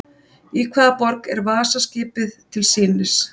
Í hvaða borg er Vasa-skipið til sýnis?